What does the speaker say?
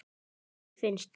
Mér finnst.